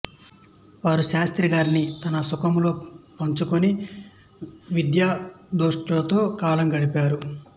వారు శాస్త్రిగారిని తమ సముఖంలో వుంచుకుని విద్వద్గోష్ఠులతో కాలం గడిపారు